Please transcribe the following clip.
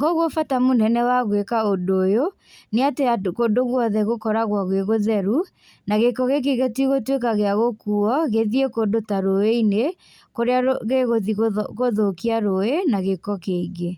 Koguo bata mũnene wa gwĩka ũndũ ũyũ, nĩ atĩ ũndũ, kũndũ guothe gũkoragwo gwĩ gũtheru, na gĩko gĩkĩ gĩtigũtwĩka gĩa gũkuo gĩthiĩ kũndũ ta rũĩ-inĩ, kũrĩa rũ gĩgũthiĩ gũthũ gũthũkia rũĩ, na gĩko kĩingĩ.